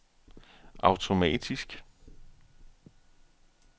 automatisk